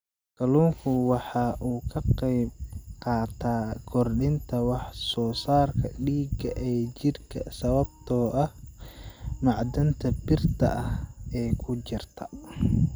Kalluunku waxa uu ka qaybqaataa kordhinta wax soo saarka dhiigga ee jidhka sababtoo ah macdanta birta ah ee ku jirta.